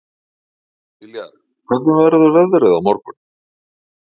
Viljar, hvernig verður veðrið á morgun?